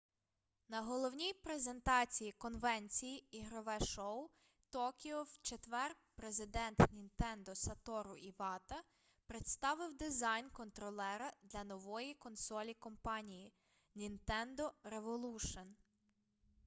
на головній презентації конвенції ігрове шоу токіо в четвер президент нінтендо сатору івата представив дизайн контролера для нової консолі компанії нінтендо револушн